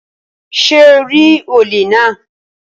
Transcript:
Ṣé o rí olè náà?